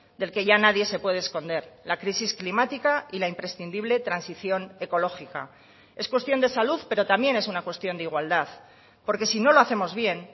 del que ya nadie se puede esconder la crisis climática y la imprescindible transición ecológica es cuestión de salud pero también es una cuestión de igualdad porque si no lo hacemos bien